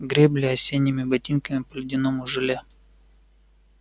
гребли осенними ботинками по ледяному желе